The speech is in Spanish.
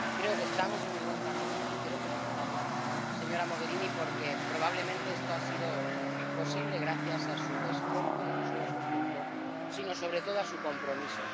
Creo que estamos en el buen camino y quiero felicitarla, señora Mogherini, porque probablemente esto ha sido posible gracias a su esfuerzo y no solo a su esfuerzo sino, sobre todo, a su compromiso.